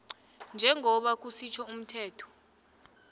njengoba kusitjho umthetho